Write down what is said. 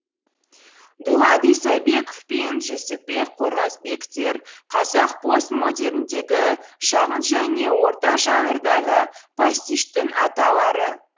дулат исабеков пен жүсіпбек қорғасбектер қазақ постмодерндегі шағын және орта жанрдағы пастиштің аталары